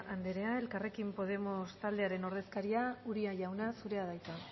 andrea elkarrekin podemos taldearen ordezkaria uria jauna zurea da hitza